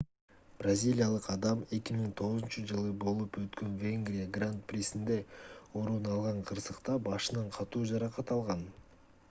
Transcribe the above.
бразилиялык адам 2009-жылы болуп өткөн венгрия гран-присинде орун алган кырсыкта башынан катуу жаракат алган